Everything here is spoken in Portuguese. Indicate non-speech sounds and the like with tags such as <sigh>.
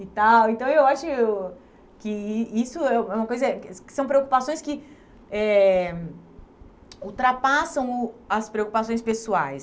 E tal então eu acho que i isso é o é uma coisa <unintelligible> são preocupações que eh ultrapassam o as preocupações pessoais.